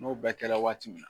N'o bɛɛ kɛ la waati min na.